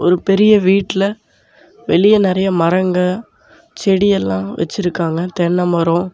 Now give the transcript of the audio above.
ஒரு பெரிய வீட்டில வெளியே நெறைய மரங்க செடியெல்லா வெச்சுருக்காங்க தென்னைமரம்.